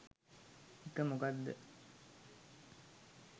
ඒක මොකක් ද